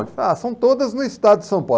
Ah, são todas no estado de São Paulo.